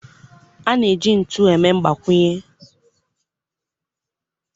A na-eji ntu eme mgbakwunye